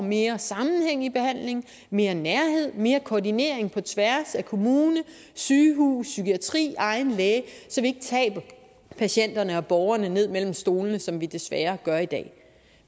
mere sammenhæng i behandlingen mere nærhed mere koordinering på tværs af kommuner sygehuse psykiatri egen læge og patienterne og borgerne ned mellem stolene som vi desværre gør i dag